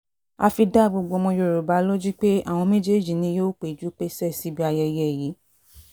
a fi dá gbogbo ọmọ yorùbá lójú pé àwọn méjèèjì ni wọn yóò péjú pésẹ̀ síbi ayẹyẹ yìí